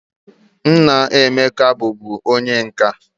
Nna Emeka bu bu onye nka.